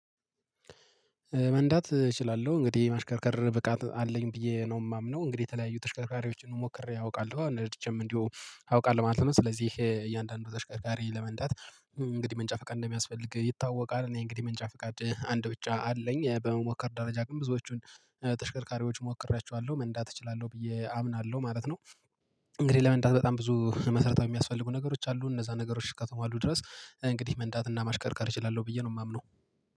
መንዳት እችላለሁ እንግዲህ የማሽከርከር ብቃት አለኝ ብዬ ነው የማምነው እንግዲህ የተለያዩ ተሽከርካሪዎችን ሞክሬ አውቃለሁ ነድቼም እንዲሁ አውቃለሁ ማለት ነው ስለዚህ እያንዳንዱን ተሽከርካሪ ለመንዳት እንግዲህ መንጃ ፈቃድ እንደሚያስፈልግ ይታወቃል እኔ እንግዲህ ፈቃድ ፍቃድ አንድ ብቻ አለኝ በመሞከር ደረጃ ግን ብዙዎቹን ተሽከርካሪዎች ሞክሬያቸዋለሁ መንዳት እችላለሁ ብዬ አምናለሁ ማለት ነው እንግዲህ ለመንዳት በጣም ብዙ መሰረታዊ የሚያስፈልጉ ነገሮች አሉ እነዛ ነገሮች እስከተሟሉ ድረስ እንግዲህ መንዳትና ማሽከርካር እችላለሁ ብዬ ነው የማምነው።